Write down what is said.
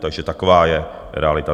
Takže taková je realita.